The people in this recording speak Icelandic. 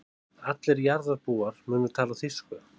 Allir jarðarbúar munu tala þýsku.